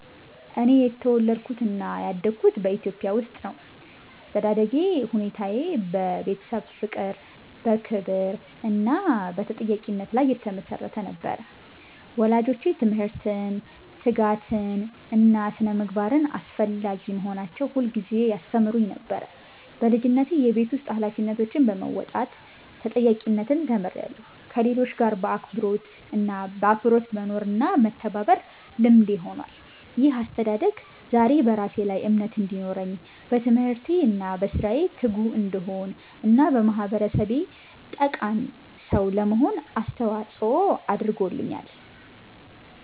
እኔ የተወለድኩትና ያደግኩት በኢትዮጵያ ውስጥ ነው። ያስተዳደግ ሁኔታዬ በቤተሰብ ፍቅር፣ በክብር እና በተጠያቂነት ላይ የተመሰረተ ነበር። ወላጆቼ ትምህርትን፣ ትጋትን እና ስነ-ምግባርን አስፈላጊ መሆናቸውን ሁልጊዜ ያስተምሩኝ ነበር። በልጅነቴ የቤት ውስጥ ኃላፊነቶችን በመወጣት ተጠያቂነትን ተምሬያለሁ፣ ከሌሎች ጋር በአክብሮት መኖርና መተባበርም ልምዴ ሆኗል። ይህ አስተዳደግ ዛሬ በራሴ ላይ እምነት እንዲኖረኝ፣ በትምህርቴ እና በሥራዬ ትጉ እንድሆን እና ለማህበረሰቤ ጠቃሚ ሰው ለመሆን አስተዋጽኦ አድርጓል።